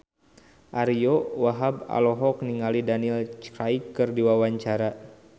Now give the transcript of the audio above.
Ariyo Wahab olohok ningali Daniel Craig keur diwawancara